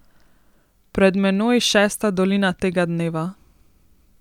Pred menoj šesta dolina tega dneva.